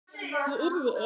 Ég yrði ein.